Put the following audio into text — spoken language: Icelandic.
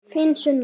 Þín Sunna.